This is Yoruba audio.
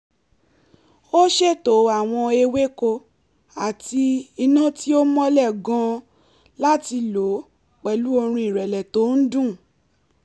ó ṣètò àwọn ewéko àti iná tí ò mọ́lẹ̀ gan-an láti lọ pẹ̀lú orin ìrẹ̀lẹ̀ tó ń dún